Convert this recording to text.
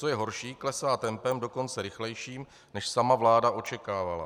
Co je horší, klesá tempem dokonce rychlejším, než sama vláda očekávala.